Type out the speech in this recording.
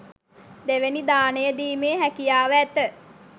දෙවැනි දානය දීමේ හැකියාව ඇත.